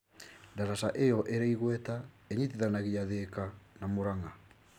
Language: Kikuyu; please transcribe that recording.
Daraca ĩyo ĩrĩ igweta ĩnyitithanagia Thĩka na Mũrang'a.